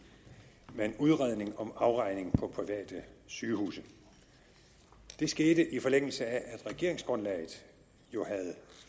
med en udredning om afregning på private sygehuse det skete i forlængelse af at regeringsgrundlaget jo havde